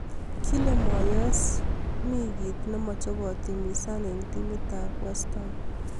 Kile moyes kole mii ki ne machei kootimizan eng timit ab westaam